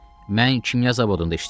Mən kimya zavodunda işləyirəm.